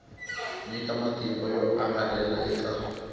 nyika matimba yo angarhela eka